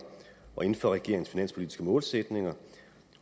og inden for regeringens finanspolitiske målsætninger